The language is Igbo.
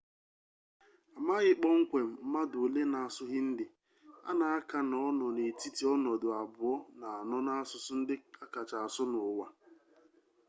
amaghị kpọmkwem mmadụ ole na-asụ hindi a na-aka na ọ nọ n'etiti ọnọdụ abụọ na anọ n'asụsụ ndị akacha asụ n'ụwa